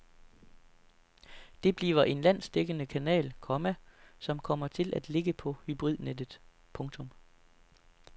Det bliver en landsdækkende kanal, komma som kommer til at ligge på hybridnettet. punktum